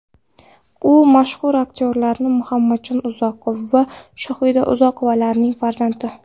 U mashhur aktyorlar Muhammadjon Uzoqov va Shohida Uzoqovalar farzandi.